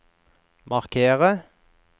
markere